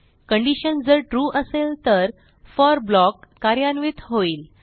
condition जर true असेल तर फोर ब्लॉक कार्यान्वित होईल